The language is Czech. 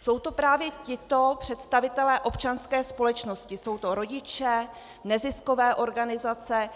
Jsou to právě tito představitelé občanské společnosti - jsou to rodiče, neziskové organizace,